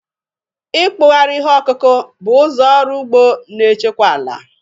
Ịkpụgharị ihe ọkụkụ bụ ụzọ ọrụ ugbo na-echekwa ala